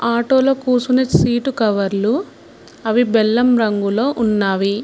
Auto లో కూసునే seat కవర్లు అవి బెల్లం రంగులో ఉన్నవి.